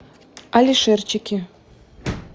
алишерчике